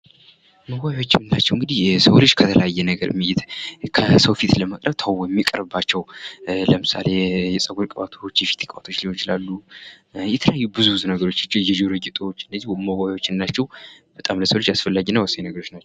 የምንላቸው እንግዲህ የሰው ልጅ ከሰው ፊት ለመቅረብ ተውቦ የሚቀርብባቸው ለምሳሌ የፀጉር ቅባቶች የተለያዩ ብዙ ነገሮች የጆሮ ጌጦች እና ለሰው ልጅ በጣም አስፈላጊና ወሳኝ ነገሮች ናቸው።